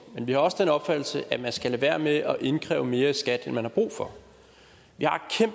men vi har også den opfattelse at man skal lade være med at indkræve mere i skat end man har brug for vi har